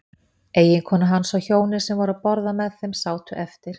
Eiginkona hans og hjónin sem voru að borða með þeim sátu eftir.